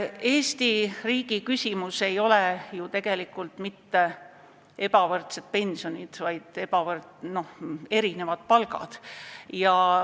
Eesti riigi suur küsimus ei ole ju tegelikult mitte ebavõrdsed pensionid, vaid erinevad palgad.